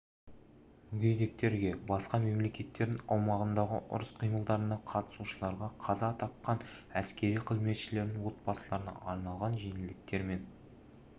мүгедектерге басқа мемлекеттердің аумағындағы ұрыс қимылдарына қатысушыларға қаза тақан әскери қызметшілердің отбасыларына арналған жеңілдіктер мен